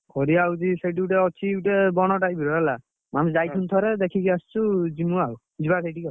କରିଆ ହଉଛି ସେଇଠି ଗୋଟା ଅଛି ଗୋଟେ ବଣ type ର ହେଲା, ଆମେ ଯାଇଥିଲୁ ଥରେ ଦେଖିକି ଆସିଚୁ ଯିବୁ ଆଉ, ଯିବା ସେଇଠିକି ଆଉ।